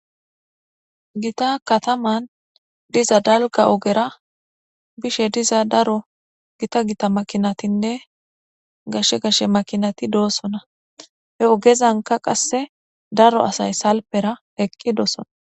Gita kataman diza dalka ogera bishe diza daro gita gita makinatinne gashe gashe makinati doossona he ogezanka qasse daro asay salpera eqqi doosona.